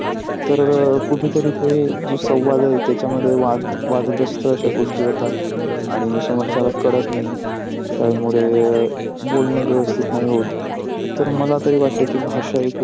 तर कुठे तरी ते जो संवाद आहे त्याचा मध्ये वाद वादग्रस्त अश्या गोष्ट होतात आनी समोरच्याला कळत नाही त्यामुळे बोलन व्यवस्थित नाही होत तर मला तरी वाटते कि भाषा हि खूप.